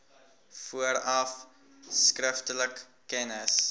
vooraf skriftelik kennis